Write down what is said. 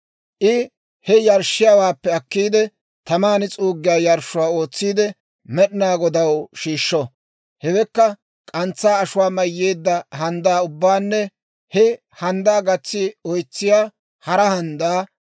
I he yarshshiyaawaappe akkiide, taman s'uuggiyaa yarshshuwaa ootsiide Med'inaa Godaw shiishsho; hewekka k'antsaa ashuwaa mayyeedda handdaa ubbaanne he handdaa gatsi oytsiyaa hara handdaa,